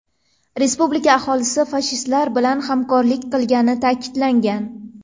Respublika aholisi fashistlar bilan hamkorlik qilgani ta’kidlangan.